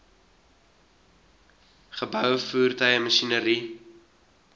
geboue voertuie masjinerie